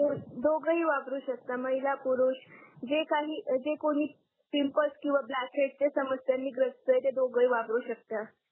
दोघेही वापरू शकता महिला पुरुष जे काही जे कोणी पिंपल्स किंवा ब्लॅकहेड्स समस्यांनी ग्रस्त आहे ते दोघेही वापरू शकतात.